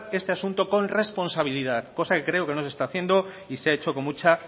este asunto con responsabilidad cosa que creo no se está haciendo y se ha hecho con mucha